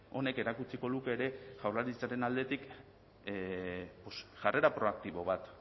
honek erakutsiko luke ere jaurlaritzaren aldetik jarrera proaktibo bat